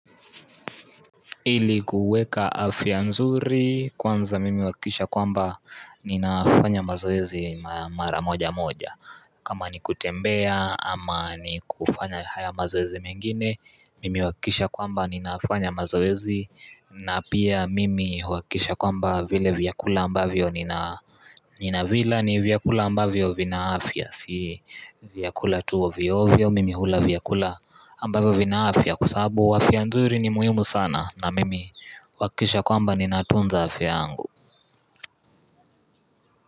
Ili kuweka afya nzuri kwanza mimi uhakikisha kwamba ninafanya mazoezi mara moja moja kama ni kutembea ama ni kufanya haya mazoezi mengine mimi uhakikisha kwamba ninafanya mazoezi na pia mimi uhakikisha kwamba vile vyakula ambavyo nina Nina vila ni vyakula ambavyo vina afya si vyakula tu ovyovyo mimi hula vyakula ambavyo vina afya Kwasababu afya nzuri ni muhimu sana na mimi uhakikisha kwamba ni natunza afya yangu.